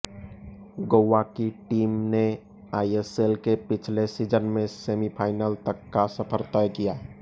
गोवा की टीम ने आईएसएल के पिछले सीज़न में सेमीफ़ाइनल तक का सफर तय किया